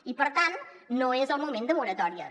i per tant no és el moment de moratòries